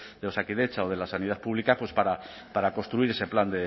de osakidetza o de la sanidad pública para construir ese plan